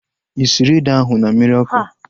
Ị sịrị ede ahu na mmiri ọkụ?